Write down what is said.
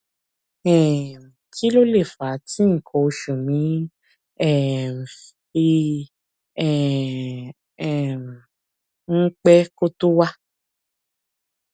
um kí ló lè fà á tí nǹkan oṣù mi um fi um ń pẹ kó tó wá